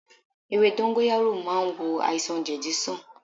Ewé dóngóyárò màa n wò àìsàn jedi sàn